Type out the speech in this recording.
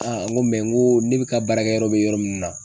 n ko n ko ne ka baarakɛ yɔrɔ be yɔrɔ min na